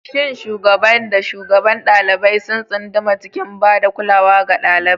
Shin shugaban da shugabar ɗalibai sun tsunduma cikin ba da kulawa ga ɗalibai?